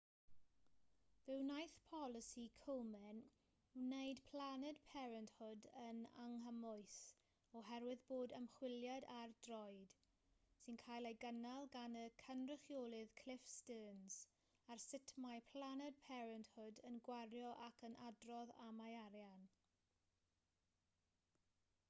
fe wnaeth polisi komen wneud planned parenthood yn anghymwys oherwydd bod ymchwiliad ar droed sy'n cael ei gynnal gan y cynrychiolydd cliff stearns ar sut mae planned parenthood yn gwario ac yn adrodd am ei arian